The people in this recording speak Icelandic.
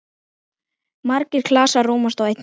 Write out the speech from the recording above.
Margir klasar rúmast í einni.